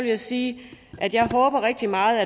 jeg sige at jeg rigtig meget